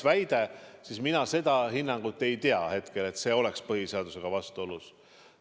Aga mina seda hinnangut ei tea hetkel, et see oleks põhiseadusega vastuolus.